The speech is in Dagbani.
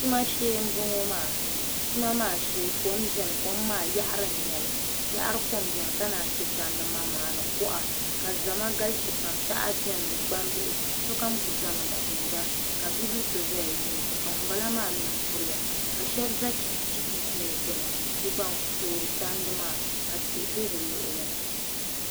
Tuma shee n boŋo maa tuma maa shee kom biɛni kom maa yaɣari n nyɛli yaɣari kom biɛni ka naan chɛ tandi manmaŋa ni kuɣa ka zama galisi pam paɣaba biɛni ni gbambihi sokam ku ʒɛmi n tumda ka bibil so ʒɛya n lihiriba ka ŋunbala maa mii kuriya ka shab ʒɛ chipiis gbuni n toori tandi ka tihi bɛ bi luɣuli ni